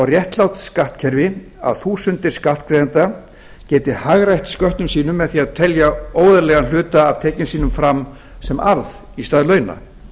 réttlátt skattkerfi að þúsundir skattgreiðenda geti hagrætt sköttum sínum með því að telja óeðlilegan hluta af tekjum sínum fram sem arð í stað launa